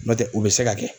N'o tɛ u bɛ se ka kɛ